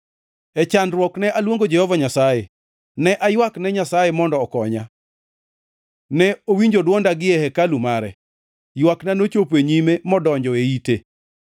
E chandruok ne aluongo Jehova Nyasaye; ne aywak ne Nyasaye mondo okonya. Ne owinjo dwonda gie hekalu mare; ywakna nochopo e nyime, modonjo e ite.